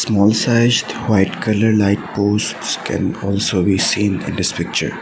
small sized white colour light polls can also be seen in this picture.